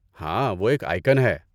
ہاں، وہ ایک آئیکن ہے۔